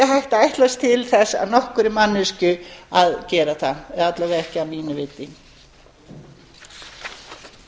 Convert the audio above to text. að ætlast til þess af nokkurri manneskju að gera það að minnsta kosti ekki